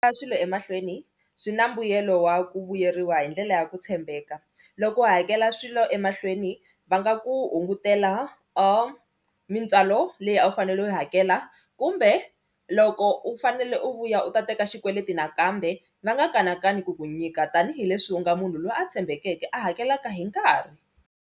swilo emahlweni swi na mbuyelo wa ku vuyeriwa hi ndlela ya ku tshembeka loko u hakela swilo emahlweni va nga ku hungutela or mintswalo leyi a wu fanele u yi hakela kumbe loko u fanele u vuya u ta teka xikweleti nakambe va nga kanakani ku ku nyika tanihileswi u nga munhu loyi a tshembekeke a hakelaka hi nkarhi.